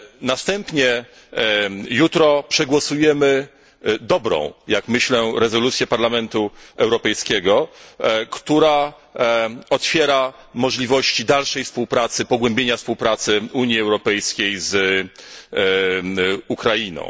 Następnie, jutro, przegłosujemy dobrą, jak myślę, rezolucję Parlamentu Europejskiego, która otwiera możliwości dalszej współpracy, pogłębienia współpracy Unii Europejskiej z Ukrainą.